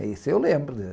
Isso eu lembro